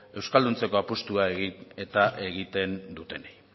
euskalduntzeko apustua egin eta egiten dutenei